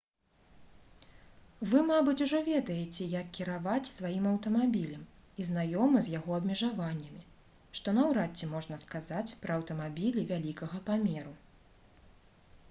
вы мабыць ужо ведаеце як кіраваць сваім аўтамабілем і знаёмы з яго абмежаваннямі што наўрад ці можна сказаць пра аўтамабілі вялікага памеру